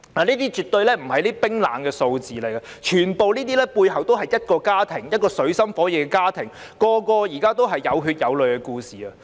這些絕對不是冷冰冰的數字，背後全部是水深火熱的家庭，每個都是有血有淚的故事。